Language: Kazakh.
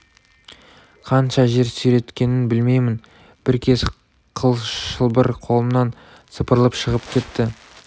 қанша жер сүйреткенін білмеймін бір кез қыл шылбыр қолымнан сыпырылып шығып кетті